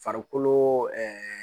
Farikolo ɛɛ